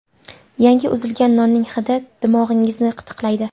Yangi uzilgan nonning hidi dimog‘ingizni qitiqlaydi.